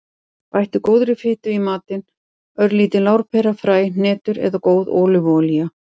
Bættu góðri fitu í matinn; örlítil lárpera, fræ, hnetur eða góð ólífuolía.